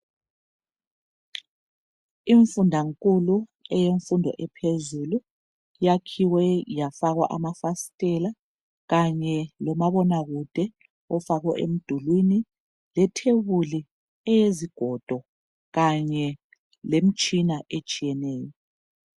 Imfunda nkulu eyemfundo ephezulu yakhiwe yafakwa amafasitela kanye lomabona kude ofakwe emdulini le thebuli eyezigodo kanye lemitshina etshiyeneyo.